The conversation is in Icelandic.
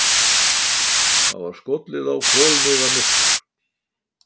Það var skollið á kolniðamyrkur.